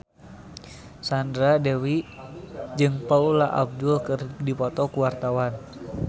Sandra Dewi jeung Paula Abdul keur dipoto ku wartawan